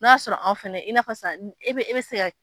N' y'a sɔrɔ an fɛnɛ i n'a fɔ sisan e bɛ e bɛ se ka.